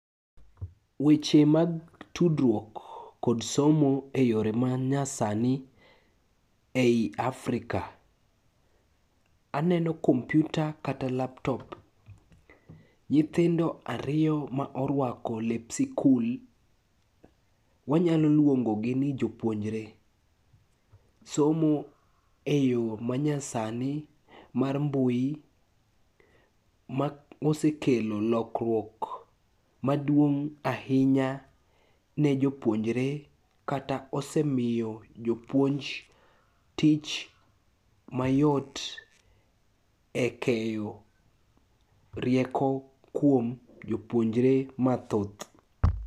Weche mag tudruok kod somo e yore manyasani e i Afrika. Aneno kompiuta kata laptop, nyithindo ariyo ma orwako lep sikul, wanyalo luongogi ni jopuonjre somo e yo manyasani mar mbui mosekelo lokruok maduong' ahinya ne jopuonjre kata osemiyo jopuonj tich mayot e keyo rieko kuom jopuonjre mathoth.